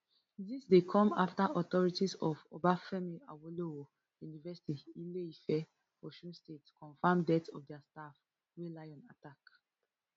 dis dey come afta authorities of obafemi awolowo university ileife osun state confam death of dia staff wey lion attack